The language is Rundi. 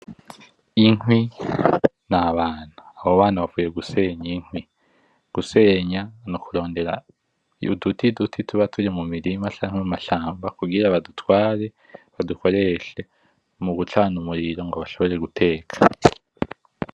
Inkwi n’abana. Abo bana bavuye gusenya inkwi. Gusenya n’ukurondera uduti tuba turi mu mirima canke mumashamba kugira badutware badukoreshe mu gucana umuriro ngo bashobore guteka.